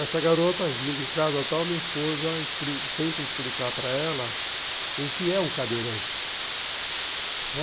Essa garota vindo em casa tal, minha esposa tenta explicar para ela o que é um cadeirante.